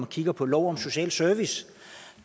kigge på lov om social service